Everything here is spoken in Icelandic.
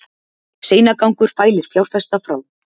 Seinagangur fælir fjárfesta frá